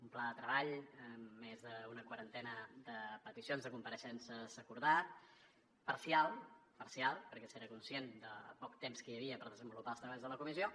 un pla de treball amb més d’una quarantena de peticions de compareixença s’ha acordat parcialment parcialment perquè s’era conscient del poc temps que hi havia per desenvolupar els treballs de la comissió